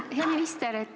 Hea minister!